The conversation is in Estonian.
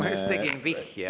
Ma just tegin vihje.